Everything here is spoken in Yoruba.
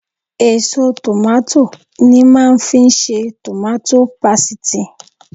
Èso tòmátò ni màá fi ń ṣe tòmátò pasìtì